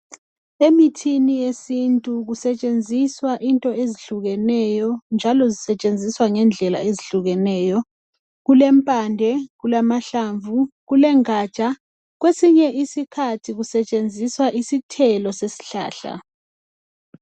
Emithini yesintu kusetshenziswa into ezihlukeneyo njalo zisetshenziswa ngendlela ezihlukeneyo kulempande kulamahlamvu kuleganja kwesinye isikhathi kusetshenziswa isithelo sesihlahla.